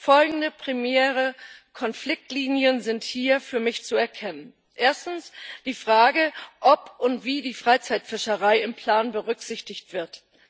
Folgende primäre Konfliktlinien sind hier für mich zu erkennen Erstens die Frage, ob und wie die Freizeitfischerei im Plan berücksichtigt wird.